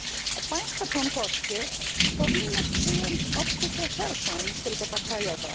A państwa członkowskie powinny przyjąć optykę szerszą niż tylko ta krajowa.